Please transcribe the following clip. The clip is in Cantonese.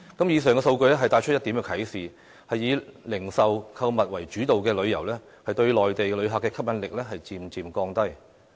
以上數據帶出一點啟示：以零售購物為主導的旅遊，對內地旅客的吸引力漸漸降低。